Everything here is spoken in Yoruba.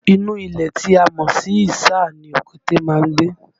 Inú ilẹ̀ tí a mọ̀ sí isà ni òkété máa ń gbé